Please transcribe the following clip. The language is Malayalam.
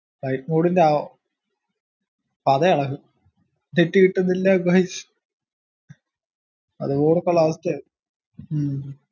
ഐഫോണിന്റെ പതയെളകും net കിട്ടുന്നില്ല guys അത് ഓർക്കുള്ള അവസ്ഥയാ ഹും